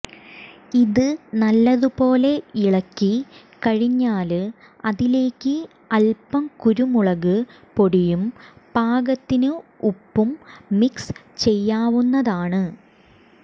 ഇത് നല്ലതുപോലെ ഇളക്കി കഴിഞ്ഞാല് അതിലേക്ക് അല്പം കുരുമുളക് പൊടിയും പാകത്തിന് ഉപ്പും മിക്സ് ചെയ്യാവുന്നതാണ്